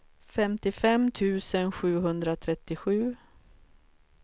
femtiofem tusen sjuhundratrettiosju